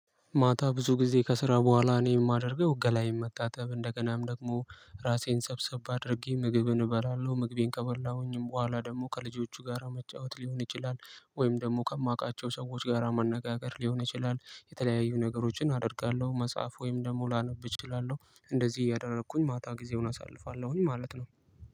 ማታ ብዙ ጊዜ ከስራ በኋላ እኔ የማደርገው ገላዬን መታጠብ እንደገናም ደግሞ ራሴን ሰብሰብ አድርጌ ምግብን እበላለሁ ምግቤን ከበላሁኝም በኋላ ደግሞ ከልጆቹ ጋራ መጫወት ሊሆን ይችላል ወይም ደግሞ ከማውቃቸው ሰዎች ጋራ መነጋገር ሊሆን ይችላል የተለያዩ ነገሮችን አደርጋለሁ። መጽሐፍ ወይም ደግሞ ላነብ እችላለሁ እንደዚህ እያደረኩኝ ማታ ጊዜውን አሳልፋለሁኝ ማለት ነው።